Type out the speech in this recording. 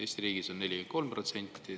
Eesti riigis on 43%.